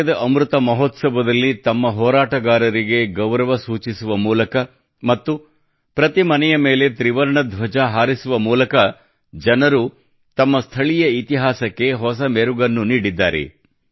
ಸ್ವಾತಂತ್ರ್ಯದ ಅಮೃತ ಮಹೋತ್ಸವದಲ್ಲಿ ತಮ್ಮ ಹೋರಾಟಗಾರರಿಗೆ ಗೌರವ ಸೂಚಿಸುವ ಮೂಲಕ ಮತ್ತು ಪ್ರತಿ ಮನೆ ಮೇಲೆ ತ್ರಿವರ್ಣ ಧ್ವಜ ಹಾರಿಸುವುದಾಗಲಿ ಜನರು ತಮ್ಮ ಸ್ಥಳೀಯ ಇತಿಹಾಸಕ್ಕೆ ಹೊಸ ಮೆರುಗನ್ನು ನೀಡಿದ್ದಾರೆ